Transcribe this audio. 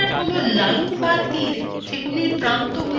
connectors হলো lines বা তীর